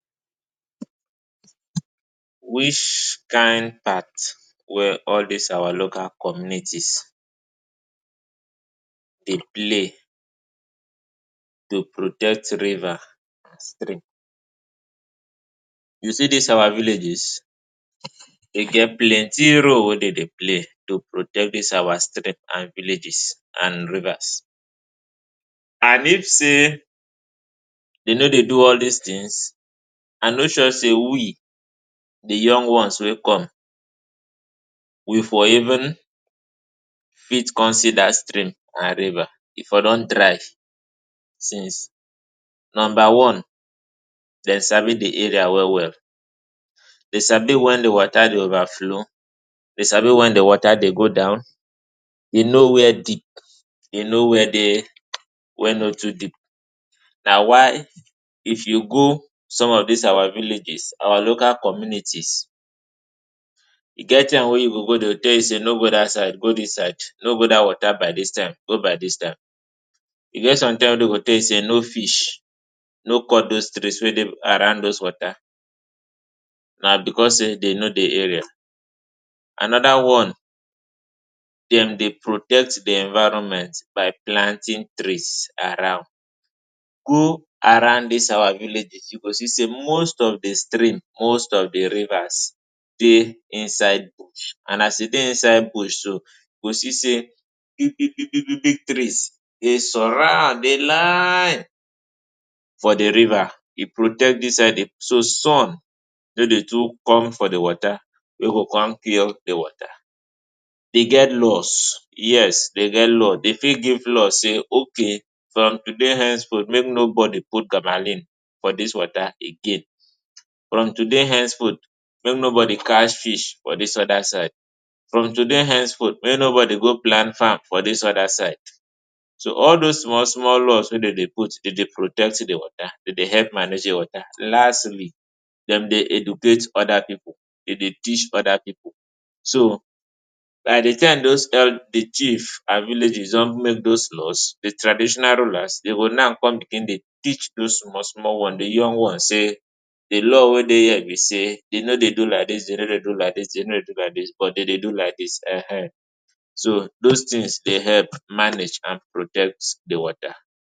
Which kind part wey all dis our local communites dey play to protect riva and stream? You see dis our villages, e get plenti role wey dem dey pley to protect dis our stream and villages and rivas. And if sey, de no dey do all dis tins, a no sure sey we, the young ones wey come, we for even fit come see dat stream and riva, e for don dry since. Nomba one, dem sabi the area well well, de sabi wen the wota dey ova flo, dem sabi wen the wota dey go down, e no where deep, e no where no too deep. Na why if you go som of our villages, our local communities, e get time wey you go go de go tell you go di side, no go dis side, no go dat wota by dis time, go by dis time. E get som time wey dem go tell you no fish, no cut dos trees wey dey around dis wota, na because sey dey no the area. Anoda one, den dey protect the environment by planting trees around. Go around dis our villages you go see sey most of the stream, most of the rivas, dey inside bush and as e dey inside bush so you go see sey, big-big big-big trees dey surround dey line for the riva, e protect inside so sun no dey too come for the wota wey go come cure the wota. dey get laws, yes dey get law, dey fit give law sey okay from today henceforth mey nobody put gamalin for dis wota again. From today hence forth make no bodi cash fish for dis oda side, from today hence forth mey nobody go plant fam for dis oda side so all dos small-small laws, wey dey dey protect the wota, dey dey help manage the wota. Lastly, dem dey educate oda pipu, dey dey teach oda pipu. so By the time those elders, the chief and villages don make dos laws, the traditional ruler, de go now come bigin to teach dos small-small ones, the yong ones sey, the law wey dey here de no dey do like dis, deno dey do kike dis but de dey do like dis[um]. So dos tin dey help manage and protect the wota.